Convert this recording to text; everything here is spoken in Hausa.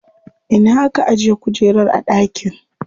Ina aka ajiye kujerar a dakin?